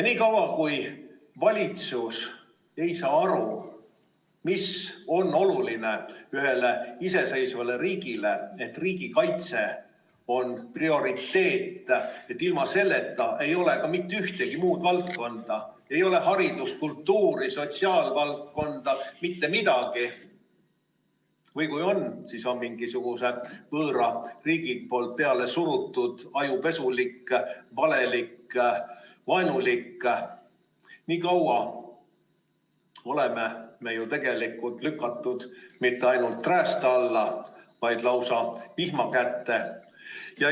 Niikaua kui valitsus ei saa aru, mis on ühele iseseisvale riigile oluline, et riigikaitse on prioriteet, et ilma selleta ei ole ka mitte ühtegi muud valdkonda, ei ole haridust, kultuuri, sotsiaalvaldkonda, mitte midagi, või kui on, siis on mingi võõra riigi poolt pealesurutud ajupesu, valelikud ja vaenulikud, nii kaua oleme me ju tegelikult lükatud mitte ainult räästa alla, vaid lausa vihma kätte.